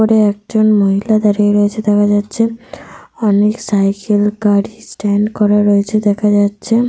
উপরে একজন মহিলা দাঁড়িয়ে রয়েছে দেখা যাচ্ছে। অনেক সাইকেল গাড়ি স্ট্যান্ড করা রয়েছে দেখা যাচ্ছে।